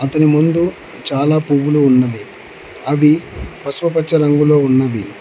అతని ముందు చాలా పువ్వులు ఉన్నవి అవి పసుపుపచ్చ రంగులో ఉన్నవి.